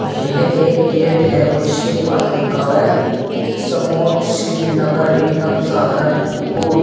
यह एक गेट है और जिसके पास लिखा हुआ है समोट सीट नगर निगम सहारनपुर।